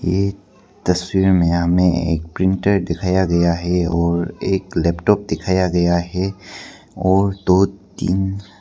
ये तस्वीर में हमें एक प्रिंटर दिखाया गया है और एक लैपटॉप दिखाया गया है और दो तीन--